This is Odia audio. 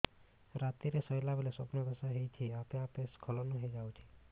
ରାତିରେ ଶୋଇଲା ବେଳେ ସ୍ବପ୍ନ ଦୋଷ ହେଉଛି ଆପେ ଆପେ ସ୍ଖଳନ ହେଇଯାଉଛି